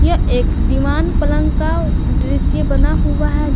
यह एक दीवान पलंग का दृश्य बना हुआ है।